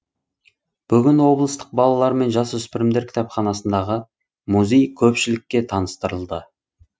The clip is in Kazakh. бүгін облыстық балалар мен жасөспірімдер кітапханасындағы музей көпшілікке таныстырылды